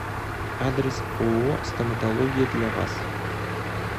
адрес ооо стоматология для вас